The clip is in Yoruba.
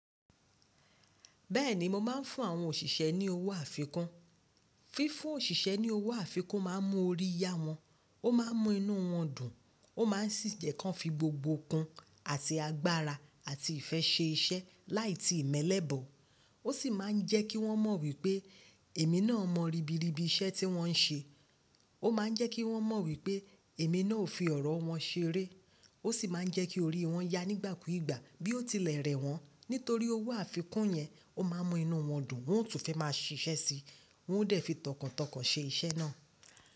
Bẹ́ẹ̀ni, mo máa ń fún àwọn òṣìṣẹ́ ní owó àfikún. Fífún òṣìṣẹ́ ní owó àfikún máa ń mú orí yá wọn, ó máa ń mú inú wọn dùn, ó má ń sì jẹ́ kán fi gbogbo okun àti agbára àti ìfẹ́ ṣe iṣẹ́ láì tí ìmẹlẹ́ bọ̀. Ó sì máa ń jẹ́ kí wọ́n mọ̀ wípé èmi náà mọ rìbìrìbì iṣẹ́ tí wọ́n ń ṣe. Ó máa ń jẹ́ kí wọ́n mọ̀ wípé èmi náà ò fi ọ̀rọ̀ wọn ṣeré. Ó sì máa ń jẹ́ kí orí wọn yá nígbàkúùgbà bí ó tilẹ̀ rẹ̀ wọ́n. Nítorí owó àfikún yẹn ó máa ń mú inú wọn dùn, wọn ó tún fẹ́ máa ṣiṣẹ́ síi, wọn ó dẹ̀ fi tọkàntọkàn ṣe iṣẹ́ náà.